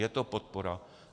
Je to podpora.